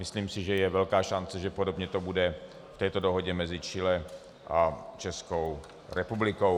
Myslím si, že je velká šance, že podobně to bude v této dohodě mezi Chile a Českou republikou.